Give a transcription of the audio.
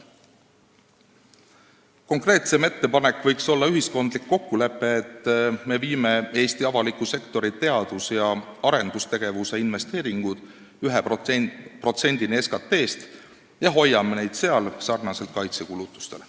Konkreetsem ettepanek võiks olla ühiskondlik kokkulepe, et me viime Eesti avaliku sektori teadus- ja arendustegevuse investeeringud 1%-ni SKT-st ja hoiame neid sellel tasemel, samamoodi nagu me oleme teinud kaitsekulutustega.